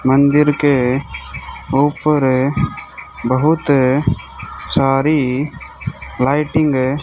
मंदिर के ऊपर बहुत सारी लाईटिंग --